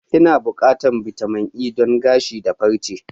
Ina buƙatar bitamin E don gashi da farche.